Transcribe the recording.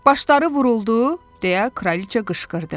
Başları vuruldu, deyə kraliça qışqırdı.